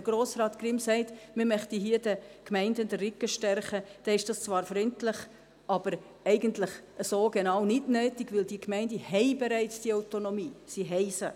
Wenn Grossrat Grimm sagt, man möchte hier den Gemeinden den Rücken stärken, ist dies zwar freundlich, aber eigentlich so genau nicht nötig, weil die Gemeinden diese Autonomie bereits haben.